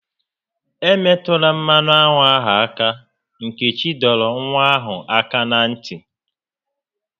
"E metụla mmanụ aṅụ ahụ áká!" Nkechi dọrọ nwa ahụ áká na ntị